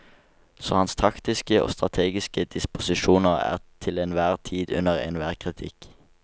Så hans taktiske og strategiske disposisjoner er til enhver tid under enhver kritikk.